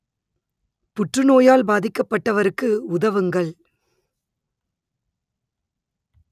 புற்றுநோயால் பாதிக்கப்பட்டவருக்கு உதவுங்கள்